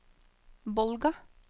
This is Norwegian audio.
Bolga